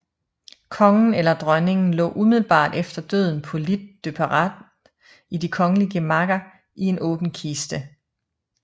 Kongen eller dronningen lå umiddelbart efter døden på lit de parade i de kongelige gemakker i en åben kiste